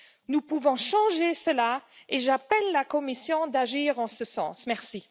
Nous pouvons changer cela et j'appelle la Commission à agir en ce sens, merci.